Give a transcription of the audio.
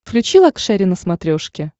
включи лакшери на смотрешке